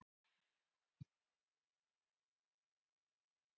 Sjá einnig svar Einars Sigurbjörnssonar við sömu spurningu.